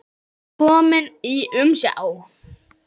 Kominn í umsjá